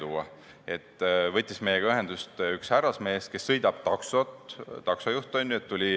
Meiega võttis ühendust üks härrasmees, kes sõidab taksot, on taksojuht.